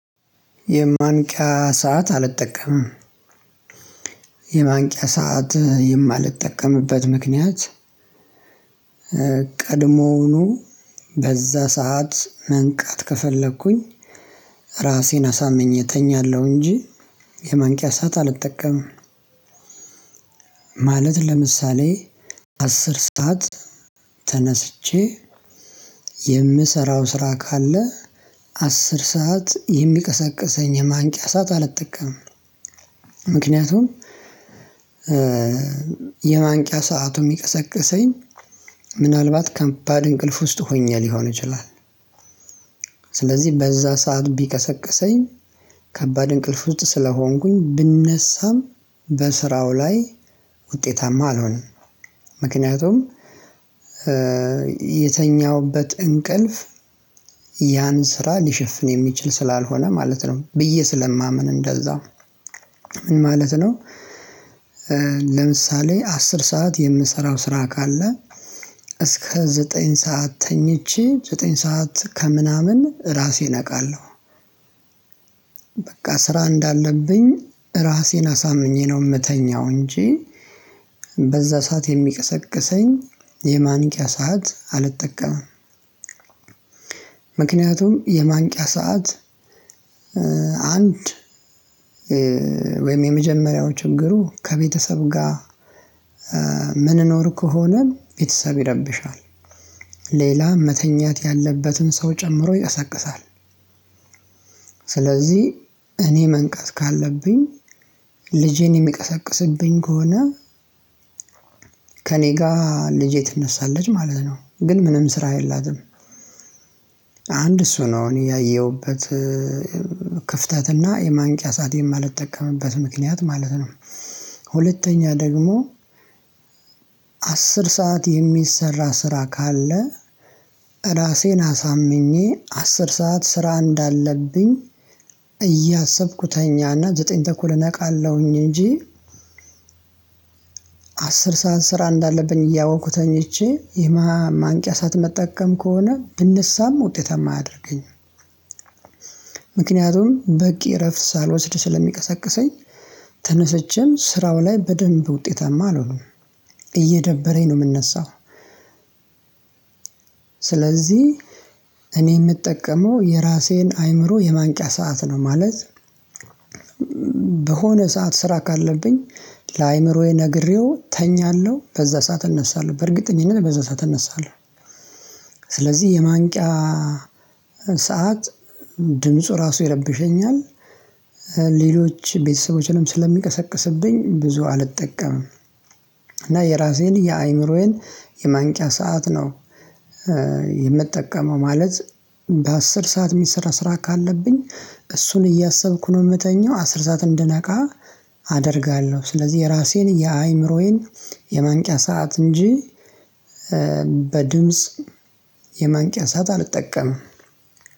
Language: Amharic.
የማንቂያ ሰዓት አልጠቀምም። የማንቂያ ሰዓት የማልጠቀምበት ምክንያት። ቀድሞኑ በዛ ሰዓት መንቃት ከፈለኩኝ ራሴን አሳምኜ እተኛለሁ እንጂ የማንቂያ ሰዓት አልጠቀምም። ማለት ለምሳሌ አስር ሰዓት ተነስቼ የምሰራው ስራ ካለ አስር ሰዓት የሚቀሰቅሰኝ የማንቂያ ሰዓት አልጠቀምም። ምክንያቱም የማንቂያ ሰዓቱ የሚቀሰቅሰኝ ምናልባት ከባድ እንቅልፍ ውስጥ ሆኘ ሊሆን ይችላል። ስለዚህ በዛ ሰዓት ቢቀሰቅሰኝ ከባድ እንቅልፍ ውስጥ ስለሆንኩኝ ብነሳም በስራው ላይ ውጤታማ አልሆነም። ምክንያቱም የተኛሁበት እንቅልፍ ያን ስራ ሊሸፍን የሚችል ስላልሆነ ማለት ነው ብዬ ስለማምን እንደዛው ምን ማለት ነው። ለምሳሌ አስር ሰዓት የምሰራው ስራ ካለ እስከ ዘጠኝ ሰዓት ተኝቼ ዘጠኝ ሰዓት ከምናምን ራሴን እነቃለሁ። በቃ ስራ እንዳለብኝ ራሴን አሳምኜ ነው የምተኛው እንጂ በዛ ሰዓት የሚቀሰቅሰኝ የማንቂያ ሰዓት አልጠቀምም። ምክንያቱም የማንቂያ ሰዓት አንድ ወይም የመጀመሪያው ችግሩ ከቤተሰብ ጋር ምንኖር ከሆነ ቤተሰብ ይረብሻል። ሌላ መተኛት ያለበትን ሰው ጨምሮ ይያሰቅሳል ይያሳቅሳል። ስለዚህ እኔ መንቃት ካለብኝ ልጄን የሚያቀሳቅስብኝ ከሆነ ከእኔ ጋር ልጄ ትነሳለች ማለት ነው ግን ምንም ስራ የላትም። አንድ እሱ ነው እኔ ያየሁበት ክፍተትና የማንቂያ ሰዓት የማልጠቀምበት ምክንያት ማለት ነው። ሁለተኛ ደግሞ አስር ሰዓት የሚሰራ ስራ ካለ ራሴን አሳምኜ አስር ሰዓት ስራ እንዳለብኝ እያሰብኩ ተኛና ዘጠኝ ተኩል እነቃለሁኝ እንጂ። አስር ሰዓት ስራ እንዳለብኝ እያወቅኩ ተኝቼ የማንቂያ ሰዓት ምጠቀም ከሆነ ብነሳም ውጤታማ አያደርገኝም። ምክንያቱም በቂ እረፍት ሳልወስድ ስለሚቀሰቅሰኝ ተነስቼም ስራው ላይ በደንብ ውጤታማ አልሆኑም እየደበረኝ ነው የምነሳው። ስለዚህ እኔ የምጠቀመው የራሴን አይምሮ የማንቂያ ሰዓት ነው ማለት በሆነ ሰዓት ስራ ካለብኝ ለአእምሮዬ ነግሬው እተኛለሁ በዛ ሰዓት እነሳለሁ በእርግጠኝነት በዛ ሰዓት እነሳለሁ። ስለዚህ የማንቂያ ሰዓት ድምፁ ራሱ ይረብሸኛል። ሌሎች ቤተሰቦችንም ስለሚቀሰቅስብኝ ብዙ አልጠቀምም እና የራሴን የአእምሮዬን የማንቂያ ሰዓት ነው። የምጠቀመው ማለት በአስር ሰዓት የሚሰራ ስራ ካለብኝ እሱን እያሰብኩ ነው የምተኛው አስር ሰዓት እንድነቃ አደርጋለሁ ስለዚህ የራሴን የአእምሮዬን የማንቂያ ሰዓት እንጂ በድምጽ የማንቂያ ሰዓት አልጠቀምም።